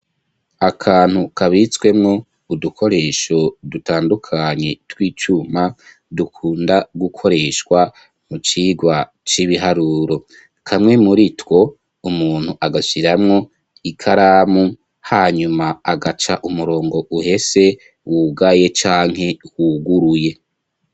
akantu kabitswemwo udukoresho dutandukanye tw'icuma dukunda gukoreshwa mu cigwa c'ibiharuro kamwe muri two umuntu agashiramwo ikaramu hanyuma agaca umurongo uhese wugaye canke huguruye